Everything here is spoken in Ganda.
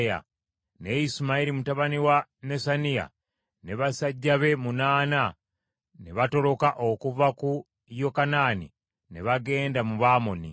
Naye Isimayiri mutabani wa Nesaniya ne basajja be munaana ne batoloka okuva ku Yokanaani ne bagenda mu ba Amoni.